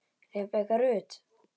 Rebekka Rut.